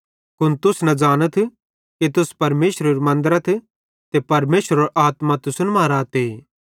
कुन तुस न ज़ानथ कि तुस परमेशरेरू मन्दरथ ते परमेशरेरो आत्मा तुसन मां रहते